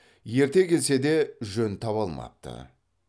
ерте келсе де жөн таба алмапты